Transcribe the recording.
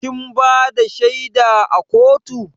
Kin bada shaida a kotu?